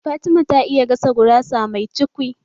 Fatima ta iya gasa gurasa mai cukwi